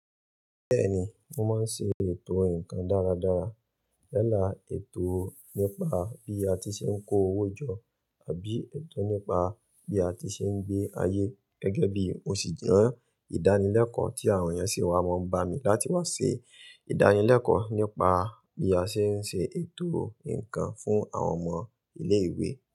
Bẹ́ẹ̀ni, mo máa ń ṣe ètò ǹkan dáradára. Yala, ètò nípa bí a ti ṣe ń kó owó jọ àbí ètò nípa bí a ti ṣe ń gbé ayé. Gẹ́gẹ́ bí mo sì jẹ́ ìdánilẹ́kọ̀ọ́ tí àwọn ènìyàn sì wá máa ń bá mi láti wá ṣe ìdánilẹ́kọ̀ọ́ nípa bí a ṣe ń ṣe ètò ǹkan fún àwọn ọmọ ilé ìwé.